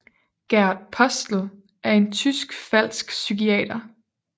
Gert Postel er en tysk falsk psykiater